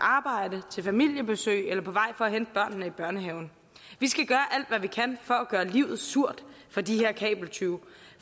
arbejde til familiebesøg eller på vej for at hente børnene i børnehaven vi skal gøre alt hvad vi kan for at gøre livet surt for de her kabeltyve